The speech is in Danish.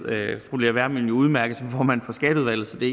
fru lea wermelin udmærket som formand for skatteudvalget så det